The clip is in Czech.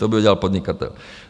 To by udělal podnikatel.